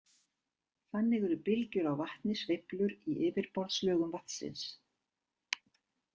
Þannig eru bylgjur á vatni sveiflur í yfirborðslögum vatnsins.